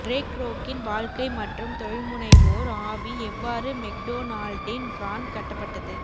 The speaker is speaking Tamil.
ரே க்ரோக்கின் வாழ்க்கை மற்றும் தொழில்முனைவோர் ஆவி எவ்வாறு மெக்டொனால்டின் பிராண்ட் கட்டப்பட்டது